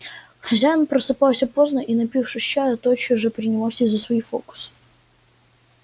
хозяин просыпался поздно и напившись чаю тотчас же принимался за свои фокусы